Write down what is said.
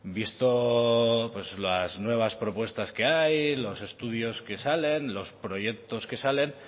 visto las nuevas propuestas que hay los estudios que salen los proyectos que salen